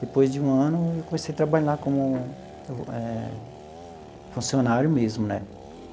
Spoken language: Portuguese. Depois de um ano, eu comecei a trabalhar como eh funcionário mesmo, né?